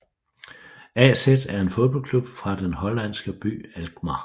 AZ er en fodboldklub fra den hollandske by Alkmaar